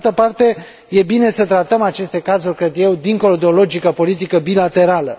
Pe de altă parte, este bine să tratăm aceste cazuri dincolo de o logică politică bilaterală.